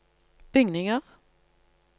bygninger